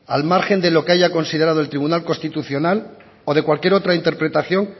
al margen de lo que haya considerado el tribunal constitucional o de cualquier otra interpretación